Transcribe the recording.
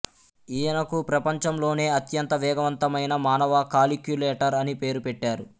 ఇయనకు ప్రపంచంలోనే అత్యంత వేగవంతమైన మానవ కాలిక్యులేటర్ అని పేరు పెట్టారు